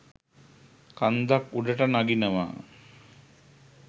කන්දක් උඩට නගිනවා